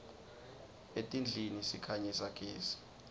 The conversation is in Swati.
etindlini sikhanyisa gezi